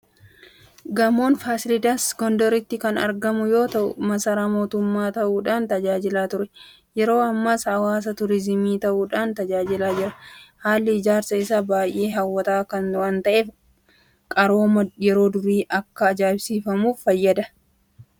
Gamoon Faasilaadas Gondaritti kan argamu yoota'u, Masaaraa mootummaa ta'uudhaan tajaajilaa ture. Yeroo ammaas hawwata turiizimii ta'uudhaan tajaajilaa jira. Haalli ijaarsa isaa baay'ee hawwataa waanta'eef qarooma yeroo durii akka ajaa'ibsiifannuuf nufayyada. Qabeenyj kun madda galii ta'ee fayyadaa jira.